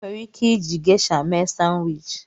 Enwere ike iji Gesha mee Sanwichi.